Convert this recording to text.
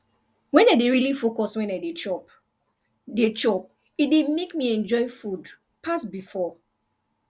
when i dey really focus when i dey chop dey chop e dey make me enjoy food pass before